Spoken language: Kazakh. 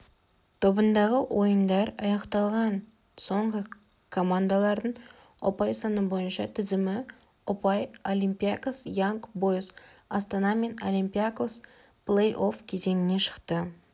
тобындағы ойындар аяқталған соңғы командалардың ұпай саны бойынша тізімі ұпай олимпиакос янг бойз астана мен олимпиакос плей-офф кезеңіне шықты